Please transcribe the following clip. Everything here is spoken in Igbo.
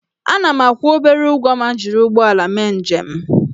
Ana m akwụ obere ụgwọ ma m jiri ụgbọala mee njem